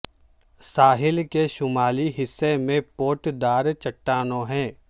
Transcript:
ساحل کے شمالی حصے میں پوٹ دار چٹٹانوں ہے